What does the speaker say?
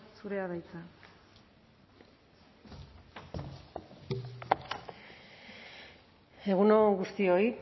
zurea da hitza egun on guztioi